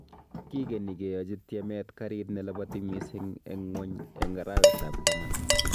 Kigeni keyachi tiemet garit nelabati missing eng ngwony Eng arawet ab taman